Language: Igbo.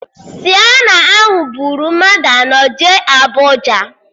Sienna ahụ buru mmadụ anọ jee Abụja